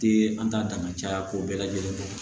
Te an ta dama caya ko bɛɛ lajɛlen kɔ